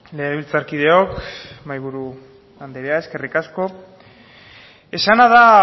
legebiltzarkideok mahaiburu anderea eskerrik asko esana da